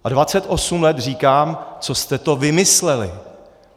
A 28 let říkám, co jste to vymysleli.